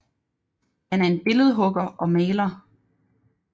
Han er en billedhugger og maler